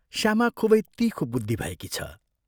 श्यामा खूबै तीखो बुद्धि भएकी छ।